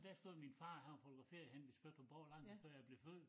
Dér stod min far han var fotograferet henne ved Spøttrup Borg lang tid før jeg blev født